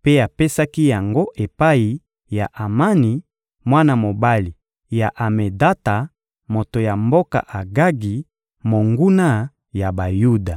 mpe apesaki yango epai ya Amani, mwana mobali ya Amedata, moto ya mboka Agagi, monguna ya Bayuda.